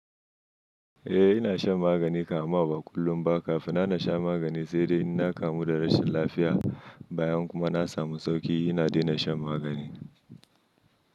Eh, ina shan magani kam amma kullum ba kafin na na sha magani sai dai ina kamu da rashin lafiya. Bayan kuma na samu sauki ina dena shan magani.